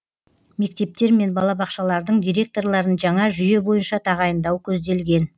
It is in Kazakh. мектептер мен балабақшалардың директорларын жаңа жүйе бойынша тағайындау көзделген